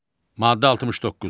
Maddə 69.